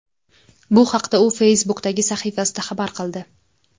Bu haqda u Facebook’dagi sahifasida xabar qildi .